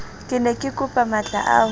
ke ne kekopa matlaa ho